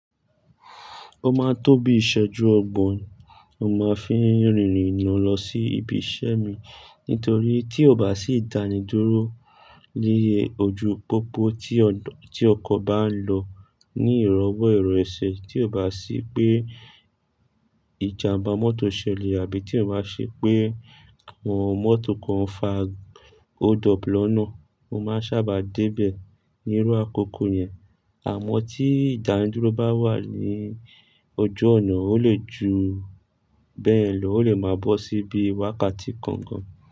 O máa tó bí ìsẹ́jú ọgbọ̀n, mo máa fi rin ìrìnà lọ sí ibi iṣẹ́ mi nítorí tí ò bá sí ìdánidúró lẹ́yẹ ojú pópó tí ọkọ̀ bá ń lọ ní ìrọwọ́ ẹ̀rọ ẹsẹ̀, tí ò bá sí pé ìjàmbá mọ́tò ṣẹlẹ̀ àbí tí ò bá ṣe pé òun mọ́tò kan fa ò hold up lọ́nà, mo máa sábà dé bẹ̀ ní irú àkókò yẹn. Àmọ́ tí ìdánidúró bá wà ní ojú ọ̀nà, ó lè ju bẹ́ẹ̀ lọ, ó lè máa bọ́ sí bí wákàtí kankan.